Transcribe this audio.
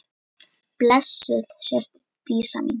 Blessuð sértu Dísa mín.